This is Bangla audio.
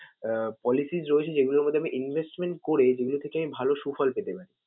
আহ policies রয়েছে যেগুলোর মধ্যে আমি investment করে যেগুলোর থেকে আমি ভালো সুফল পেতে পারি?